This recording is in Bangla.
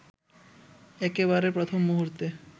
একেবারে প্রথম মূহুর্তে